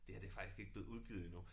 Det her det faktisk ikke blevet udgivet endnu